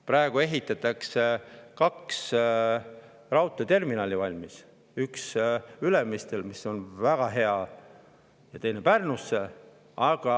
Praegu ehitatakse kaks raudteeterminali valmis: üks Ülemistele, mis on väga hea, ja teine Pärnusse.